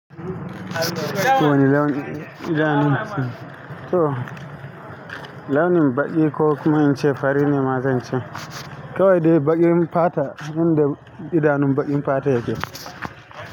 To wani launin idanu. To launin baƙi ko kuma in ce fari ne ma zan ce. Kawai dai baƙin fata, inda idanun baƙin fata yake.